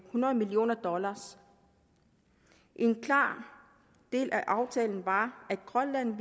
hundrede million dollar en klar del af aftalen var at grønland